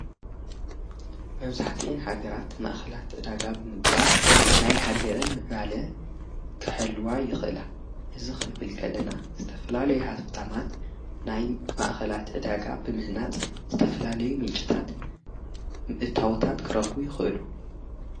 መብዙሕቲአን ሃገራት ማእኸላት እዳጋ ብምግባር ናይ ሃገረን ምዕባለ ከሀልዋ ይኽእላ ሕዚ ኽንብልከለና ዝተፈላለይ ሃፍታማት ናይ ማእኸላት እዳጋ ብምህናጽ ዝተፈላለይ ምንጭታት እታወታት ክረኽ ይኽእሉ::